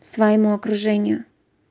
своему окружению